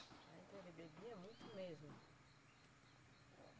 Ah, então ele bebia muito mesmo?